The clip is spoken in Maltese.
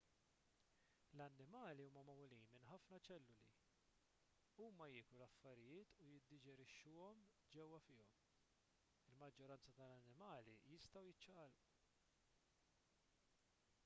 l-annimali huma magħmulin minn ħafna ċelluli huma jieklu l-affarijiet u jiddiġerixxuhom ġewwa fihom il-maġġoranza tal-annimali jistgħu jiċċaqalqu